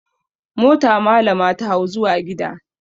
Mota malama ta hau zuwa gida.